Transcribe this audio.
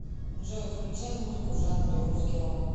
джой включай музыку в жанре русский рок